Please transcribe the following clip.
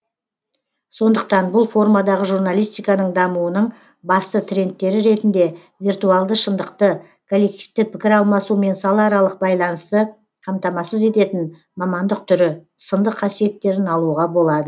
сондықтан бұл формадағы журналистиканың дамуының басты трендтері ретінде виртуалды шындықты коллективті пікір алмасу мен салааралық байланысты қамтамасыз ететін мамандық түрі сынды қасиеттерін алуға болады